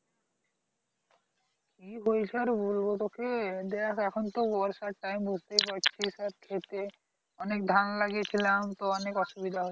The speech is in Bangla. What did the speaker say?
কি বলছো আর বলবো টা কি দেখ এখন তো বয়সের time বুঝতেই পারছিস এবার ক্ষেতে অনেক ধান লাগিয়েছিলাম অনেক অসুবিধা হচ্ছে